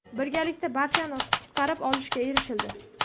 Birgalikda barchani qutqarib olishga erishildi.